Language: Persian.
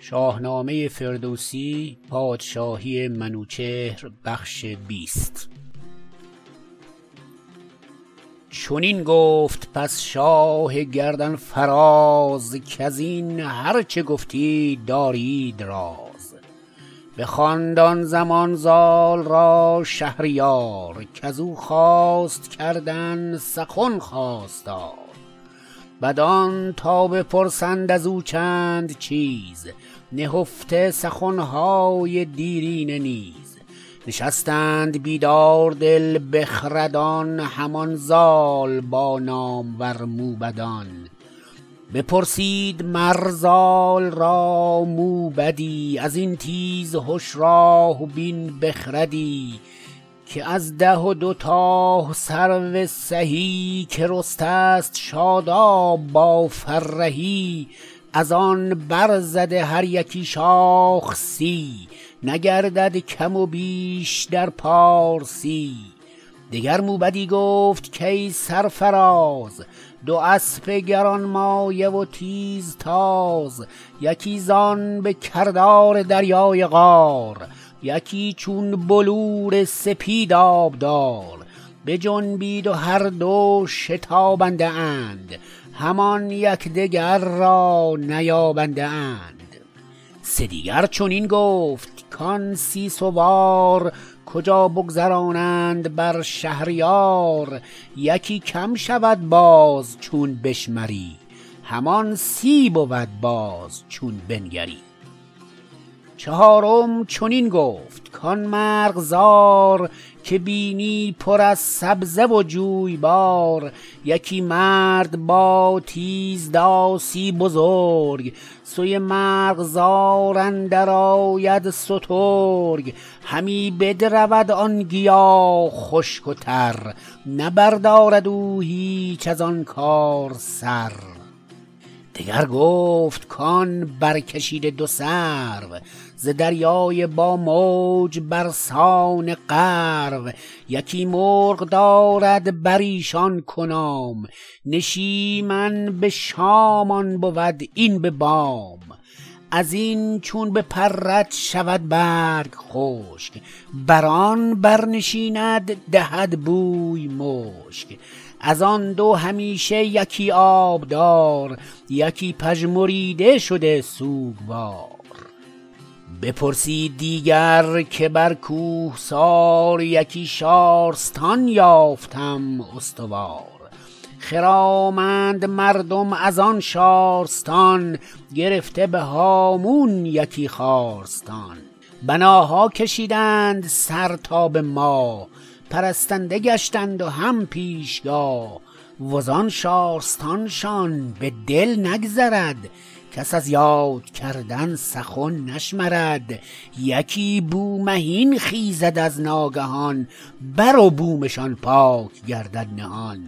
چنین گفت پس شاه گردن فراز کزین هرچه گفتید دارید راز بخواند آن زمان زال را شهریار کزو خواست کردن سخن خواستار بدان تا بپرسند ازو چند چیز نهفته سخنهای دیرینه نیز نشستند بیدار دل بخردان همان زال با نامور موبدان بپرسید مر زال را موبدی ازین تیزهش راه بین بخردی که از ده و دو تای سرو سهی که رسته ست شاداب با فرهی ازآن برزده هر یکی شاخ سی نگردد کم و بیش در پارسی دگر موبدی گفت کای سرفراز دو اسپ گرانمایه و تیزتاز یکی زان به کردار دریای قار یکی چون بلور سپید آبدار بجنبید و هر دو شتابنده اند همان یکدیگر را نیابنده اند سه دیگر چنین گفت کان سی سوار کجا بگذرانند بر شهریار یکی کم شود باز چون بشمری همان سی بود باز چون بنگری چهارم چنین گفت کان مرغزار که بینی پر از سبزه و جویبار یکی مرد با تیز داسی بزرگ سوی مرغزار اندر آید سترگ همی بدرود آن گیا خشک و تر نه بردارد او هیچ ازآن کار سر دگر گفت کان برکشیده دو سرو ز دریای با موج برسان غرو یکی مرغ دارد بریشان کنام نشیمش به شام آن بود این به بام ازین چون بپرد شود برگ خشک برآن بر نشیند دهد بوی مشک ازآن دو همیشه یکی آبدار یکی پژمریده شده سوگوار بپرسید دیگر که بر کوهسار یکی شارستان یافتم استوار خرامند مردم ازان شارستان گرفته به هامون یکی خارستان بناها کشیدند سر تا به ماه پرستنده گشتند و هم پیشگاه وزآن شارستان شان به دل نگذرد کس از یاد کردن سخن نشمرد یکی بومهین خیزد از ناگهان بر و بومشان پاک گردد نهان